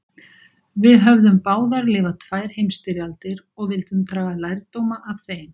Við höfðum báðir lifað tvær heimstyrjaldir og vildum draga lærdóma af þeim.